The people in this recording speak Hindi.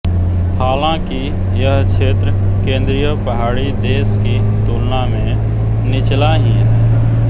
हालांकि यह क्षेत्र केंद्रीय पहाड़ी देश की तुलना में निचला ही है